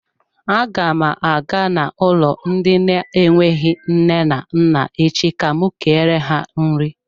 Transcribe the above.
Aga m aga n'ụlọ ndị na-enweghị nne na nna echi ka m kere ha nri.